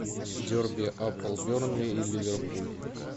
дерби апл бернли и ливерпуль